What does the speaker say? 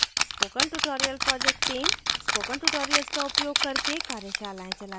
spoken tutorial project team spoken tutorial का उपयोग करके कार्यशालाएँ चलाती है